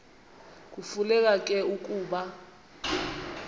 kufuneka ke ukuba